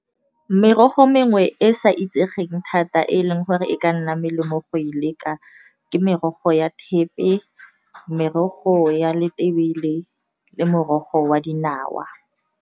Merogo mengwe e e sa itsegeng thata e leng gore e ka nna melemo go e leka, ke merogo ya thepe, merogo ya letebele, le morogo wa dinawa.